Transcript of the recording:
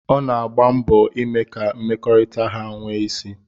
Ọ na-agba mbọ ime ka mmekọrịta ha nwee isí.